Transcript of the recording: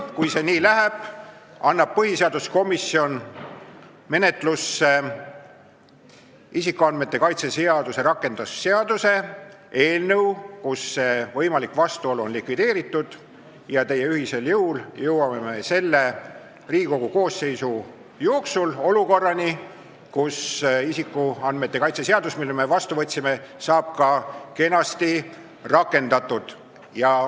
Kui see nii läheb, siis homme hommikul annab põhiseaduskomisjon menetlusse isikuandmete kaitse seaduse rakendamise seaduse eelnõu, kus see võimalik vastuolu on likvideeritud, ja ühisel jõul jõuame selle Riigikogu koosseisu jooksul olukorrani, kus isikuandmete kaitse seadus, mille me vastu võtsime, saab ka kenasti rakendatud.